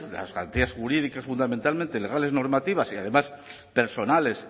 las garantías jurídicas fundamentalmente legales normativas y además personales